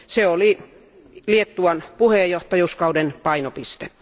Se oli Liettuan puheenjohtajakauden painopiste.